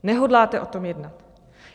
Nehodláte o tom jednat.